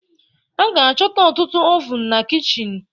A ga-achọta ọtụtụ oven na kichin